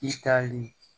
I tali